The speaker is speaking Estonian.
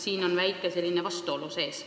Siin on selline väike vastuolu sees.